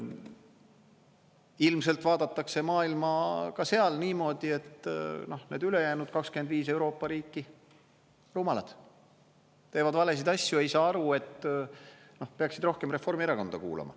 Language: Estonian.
Ilmselt vaadatakse maailma ka seal niimoodi, et need ülejäänud 25 Euroopa riiki rumalad, teevad valesid asju, ei saa aru, et peaksid rohkem Reformierakonda kuulama.